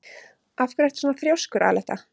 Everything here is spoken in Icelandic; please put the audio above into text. Af hverju ertu svona þrjóskur, Aletta?